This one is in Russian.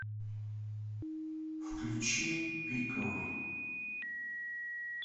включи пиковый